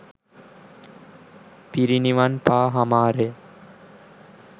පිරිනිවන් පා හමාරය.